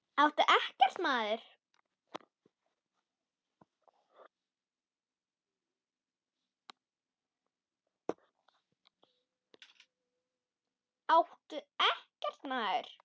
Áttu EKKERT, maður!